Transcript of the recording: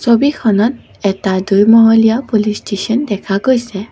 ছবিখনত এটা দুই মহলীয়া পুলিচ ষ্টেচন দেখা গৈছে।